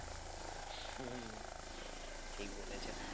হম ঠিক বলেছো